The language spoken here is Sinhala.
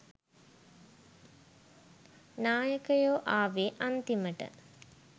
නායකයෝ ආවේ අන්තිමට